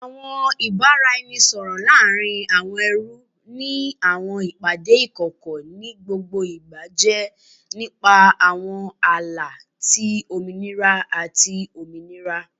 Awọn ibaraẹnisọrọ laarin awọn ẹrú ni awọn ipade ikọkọ nigbagbogbo jẹ nipa awọn ala ti ominira ati ominira